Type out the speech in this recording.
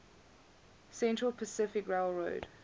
central pacific railroad